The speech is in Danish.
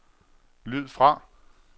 lyd fra